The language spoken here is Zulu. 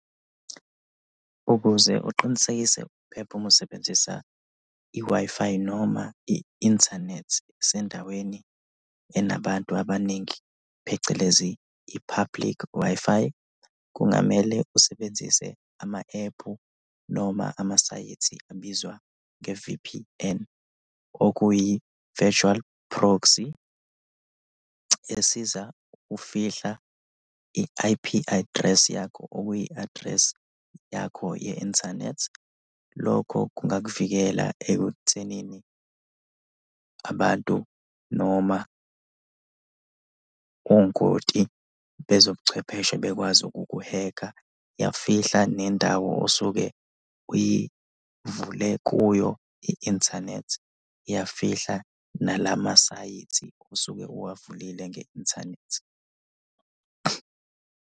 Ukuze uqinisekise ukuphepha uma usebenzisa i-Wi-Fi noma i-inthanethi kusendaweni enabantu abaningi, phecelezi i-public Wi-Fi, kungamele usebenzise ama-ephu noma amasayethi abizwa nge-V_P_N, okuyi-virtual proxy esiza ukufihla i-I_P address yakho, okuyi-address yakho ye-inthanethi. Lokho kungakuvikela ekuthenini abantu noma ongoti bezobuchwepheshe bekwazi ukuku-hack-a, iyafihla nendawo osuke uyivule kuyo i-inthanethi, iyafihla nalamasayithi osuke uwavulile nge-inthanethi.